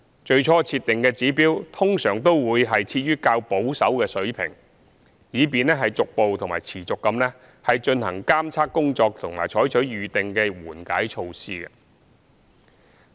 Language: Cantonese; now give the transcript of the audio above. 最初設定的指標通常會設於較保守的水平，以便逐步及持續地進行監測工作及採取預定的緩解措施。